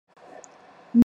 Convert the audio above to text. Mibali bazo beta ndembo.